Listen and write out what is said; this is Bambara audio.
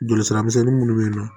Joli sira misɛnnin munnu be yen nɔ